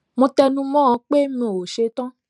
mo tẹnu mó ọn pé mo ṣe tán